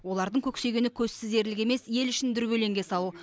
олардың көксегені көзсіз ерлік емес ел ішін дүрбелеңге салу